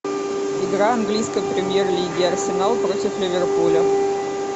игра английской премьер лиги арсенал против ливерпуля